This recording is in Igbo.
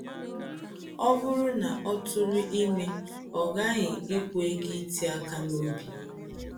Ọ̀ bụrụ́ na ọ̀ tụrụ ime,ọ̀ ghaghị ịkwụ ego iti aka n’obi.